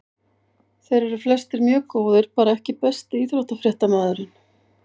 Þeir eru flestir mjög góðir bara EKKI besti íþróttafréttamaðurinn?